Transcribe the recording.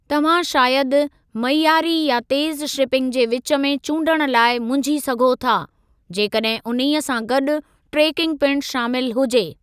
तव्हां शायदि मइयारी या तेज़ शिपिंग जे विच में चूंडण लाइ मुंझी सघो था, जेकॾहिं उन्हीअ सां गॾु ट्रेकिंग पिणु शामिल हुजे।